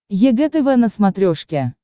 егэ тв на смотрешке